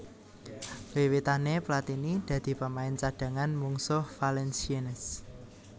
Wiwitané Platini dadi pemain cadhangan mungsuh Valenciennes